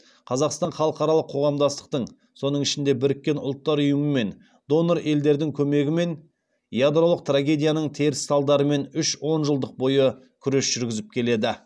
қазақстан халықаралық қоғамдастықтың соның ішінде біріккен ұлттар ұйымы мен донор елдердің көмегімен ядролық трагедияның теріс салдарымен үш онжылдық бойы күрес жүргізіп келеді